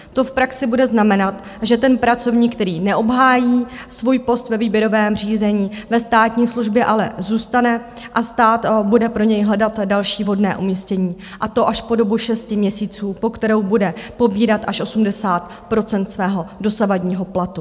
To v praxi bude znamenat, že ten pracovník, který neobhájí svůj post ve výběrovém řízení ve státní službě, ale zůstane a stát bude pro něj hledat další vhodné umístění, a to až po dobu šesti měsíců, po kterou bude pobírat až 80 % svého dosavadního platu.